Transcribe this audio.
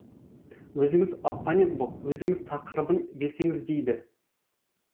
өзіңіз оппонент боп өзіңіз тақырыбын берсеңіз дейді